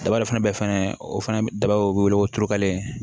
Daba dɔ fana bɛ fana o fana daba o bɛ wele ko turukalen